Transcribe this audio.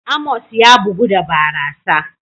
Amos ya bugu da barasa.